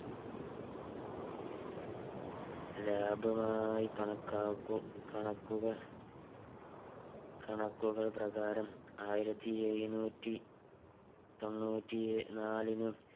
ലാഭമായി കണക്കാക്കു കണക്കുകൾ കണക്കുകൾ പ്രകാരം ആയിരത്തി എഴുന്നൂറ്റി തൊണ്ണൂറ്റി എ നാലിനും